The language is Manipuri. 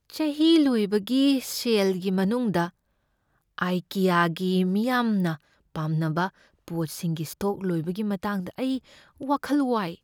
ꯆꯍꯤ ꯂꯣꯏꯕꯒꯤ ꯁꯦꯜꯒꯤ ꯃꯅꯨꯡꯗ ꯑꯥꯏꯀꯤꯌꯥꯒꯤ ꯃꯤꯌꯥꯝꯅ ꯄꯥꯝꯅꯕ ꯄꯣꯠꯁꯤꯡꯒꯤ ꯁ꯭ꯇꯣꯛ ꯂꯣꯏꯕꯒꯤ ꯃꯇꯥꯡꯗ ꯑꯩ ꯋꯥꯈꯜ ꯋꯥꯏ꯫